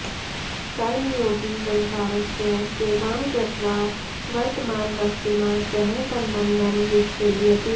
कर्मयोगी संसारस्य सेवां कृत्वा वर्तमानवस्तुना सह सम्बन्धं विच्छेदयति